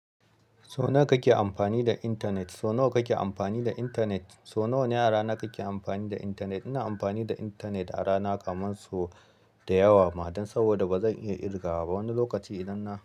So nawa kake amfani da intanet? So nawa kake amfani da intanet? So nawa ne a rana kake amfani da intanet? Ina amfani da intanet a rana kaman so da yawa ma, dan saboda ba zan iya ƙirga ba wani lokaci idan na.